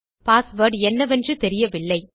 password என்னவென்று தெரியவில்லை